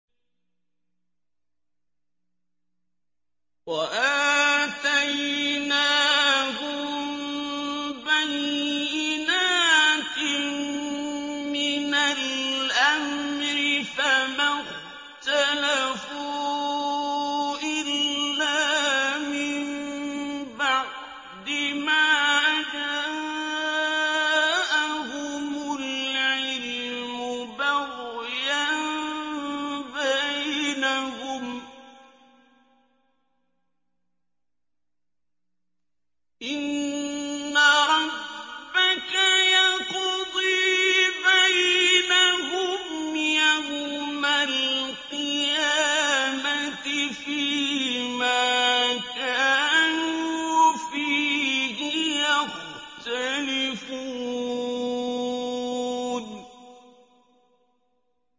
وَآتَيْنَاهُم بَيِّنَاتٍ مِّنَ الْأَمْرِ ۖ فَمَا اخْتَلَفُوا إِلَّا مِن بَعْدِ مَا جَاءَهُمُ الْعِلْمُ بَغْيًا بَيْنَهُمْ ۚ إِنَّ رَبَّكَ يَقْضِي بَيْنَهُمْ يَوْمَ الْقِيَامَةِ فِيمَا كَانُوا فِيهِ يَخْتَلِفُونَ